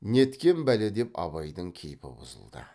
неткен бәле деп абайдың кейпі бұзылды